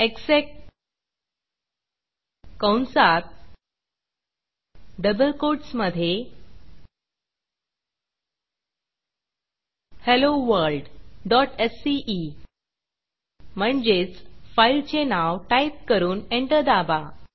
exec कंसात double quotes मधे helloworldसीई म्हणजेच फाईलचे नाव टाईप करून एंटर दाबा